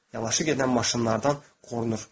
Yavaşı gedən maşınlardan qorunur.